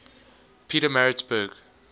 pietermaritzburg